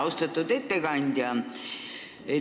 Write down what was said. Austatud ettekandja!